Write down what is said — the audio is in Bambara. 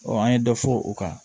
an ye dɔ fɔ o kan